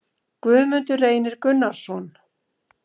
Guðmundur Reynir Gunnarsson